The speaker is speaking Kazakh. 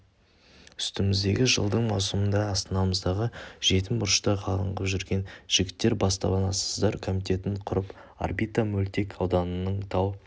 үстіміздегі жылдың маусымында астанамыздағы жетім бұрышта қаңғып жүрген жігіттер баспанасыздар комитетін құрып орбита мөлтек ауданының тау